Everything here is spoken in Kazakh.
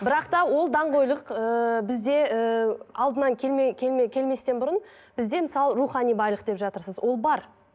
бірақ та ол даңғойлық ыыы бізде ііі алдынан келме келме келместен бұрын бізде мысалы рухани байлық деп жатырсыз ол бар